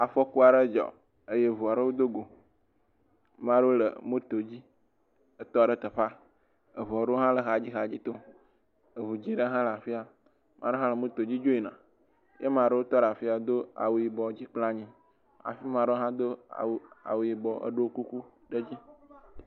Afɔku aɖe dzɔ eye ŋu aɖewo dogo. Ame aɖewo le moto dzi etɔ ɖe teƒea. Ŋu aɖewo hã le xadzixadzi tom. Ŋu dzɛ̃ ɖe hã le afia. Ame aɖe hã le moto dzi dzo yina eye ame aɖewo tɔ aɖe afia do awu yibɔ dzi kple anyi hafi ame aɖe hã do awu yibɔ ɖo kuku ɖe edzi.